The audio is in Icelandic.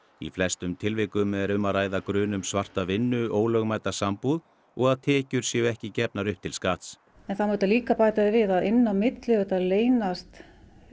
í flestum tilvikum er um að ræða grun um svarta vinnu ólögmæta sambúð og að tekjur séu ekki gefnar upp til skatts það má líka bæta því við að inn á milli leynast